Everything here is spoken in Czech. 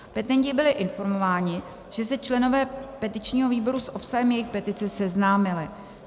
Petenti byli informováni, že se členové petičního výboru s obsahem jejich petice seznámili.